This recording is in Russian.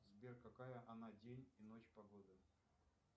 сбер какая на день и ночь погода